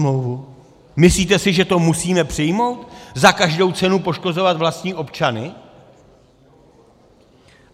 Myslíte si, že to musíme přijmout, za každou cenu poškozovat vlastní občany?